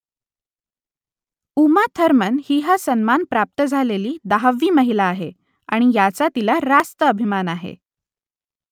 Uma Thurman ही हा सन्मान प्राप्त झालेली दहावी महिला आहे आणि याचा तिला रास्त अभिमान आहे